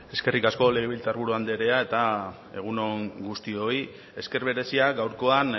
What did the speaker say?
eskerrik asko legebiltzar buru anderea eta egun on guztioi esker berezia gaurkoan